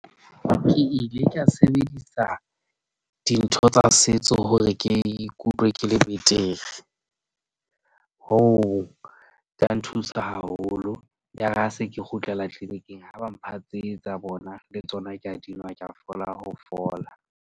Ke ile ka sebedisa dintho tsa setso hore ke ikutlwe ke le betere. Hoo ya nthusa haholo, ya re ha se ke kgutlela kliniking ha ba mpha tse tsa bona le tsona ke a di nwa. Ke a fola ho fola.